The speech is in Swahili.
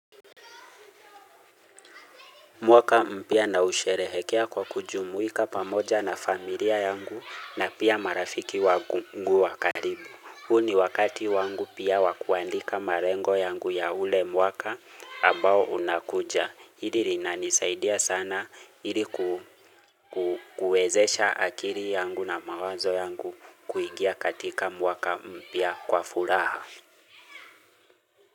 Mwaka mpya na usherehekea kwa kujumuika pamoja na familia yangu na pia marafiki wangu wakaribu. Huu ni wakati wangu pia wakuandika marengo yangu ya ule mwaka ambao unakuja. Hili linanisaidia sana iliku kuwezesha akili yangu na mawazo yangu kuingia katika mwaka mpya kwa furaha.